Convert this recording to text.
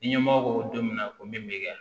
Ni ɲɛmɔgɔ ko don min na ko min bɛ kɛ